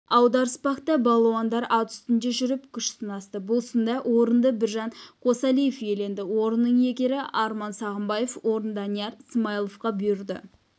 аударыспақта балуандар ат үстінде жүріп күш сынасты бұл сында орынды біржан қосалиев иеленді орынның иегері арман сағымбаев орын данияр смайловқа бұйырды